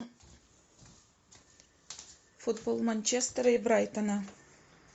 футбол манчестера и брайтона